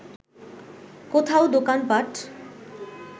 কোথাও দোকানপাট